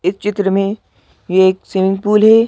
इस चित्र में ये एक स्विमिंग पूल है।